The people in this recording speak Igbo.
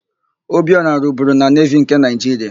Obiora rụburu na Nevi nke Naịjiria.